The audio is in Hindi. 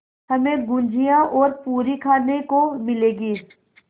हमें गुझिया और पूरी खाने को मिलेंगी